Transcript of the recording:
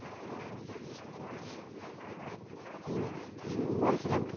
বলছিলাম কি,